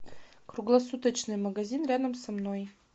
круглосуточный магазин рядом со мной